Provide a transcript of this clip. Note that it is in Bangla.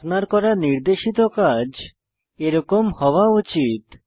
আপনার করা নির্দেশিত কাজ এরকম হওয়া উচিত